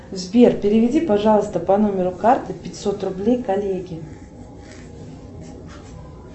сбер переведи пожалуйста по номеру карты пятьсот рублей коллеге